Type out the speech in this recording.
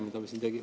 Arvo Aller, palun!